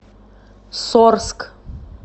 сорск